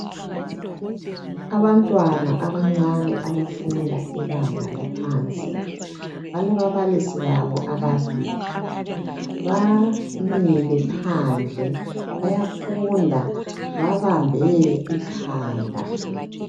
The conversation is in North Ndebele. Abantwana abancane abafunda ibanga laphansi, balababalisi babo ababili. Bamile phandle bayafunda babambe ikhanda.